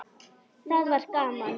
Það var gaman.